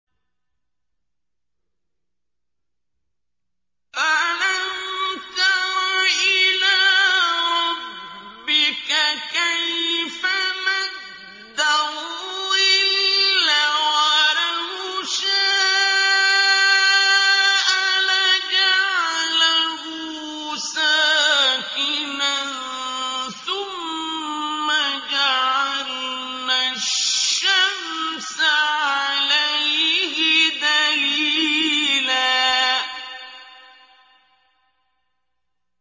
أَلَمْ تَرَ إِلَىٰ رَبِّكَ كَيْفَ مَدَّ الظِّلَّ وَلَوْ شَاءَ لَجَعَلَهُ سَاكِنًا ثُمَّ جَعَلْنَا الشَّمْسَ عَلَيْهِ دَلِيلًا